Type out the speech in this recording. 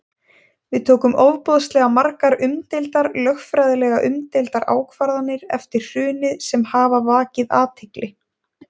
Við tókum ofboðslega margar umdeildar, lögfræðilega umdeildar ákvarðanir eftir hrunið sem hafa vakið athygli?